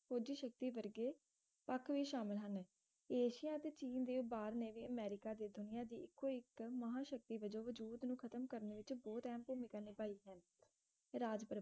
ਕੁਜ ਸ਼ਕਤੀ ਵਰਗੇ ਪਖ ਵੀ ਸ਼ਾਮਲ ਹਨ ਏਸ਼ੀਆ ਤੇ ਚੀਨ ਦੇ ਉਭਾਰ ਨੇ ਅਮਰੀਕਾ ਦੇ ਦੁਨੀਆ ਦੇ ਇੱਕੋ ਇੱਕ ਮਹਾਂਸ਼ਕਤੀ ਵਜੋਂ ਵਜੂਦ ਨੂੰ ਖਤਮ ਕਰਨ ਵਿੱਚ ਬਹੁਤ ਅਹਿਮ ਭੂਮਿਕਾ ਨਿਭਾਈ ਹੈ ਰਾਜ